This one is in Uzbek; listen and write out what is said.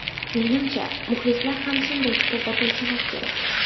Menimcha, muxlislar ham shunday fikrda bo‘lsalar kerak.